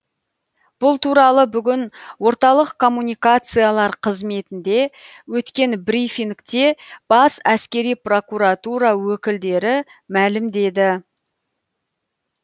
бұл туралы бүгін орталық коммуникациялар қызметінде өткен брифингте бас әскери прокуратура өкілдері мәлімдеді